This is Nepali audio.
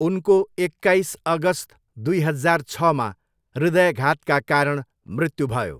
उनको एक्काइस अगस्त दुई हजार छमा हृदयाघातका कारण मृत्यु भयो।